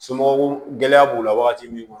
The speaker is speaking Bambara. Somɔgɔw gɛlɛya b'u la wagati min